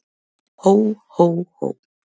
Hó, hó, hó!